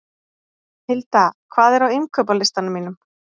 Hilda, hvað er á innkaupalistanum mínum?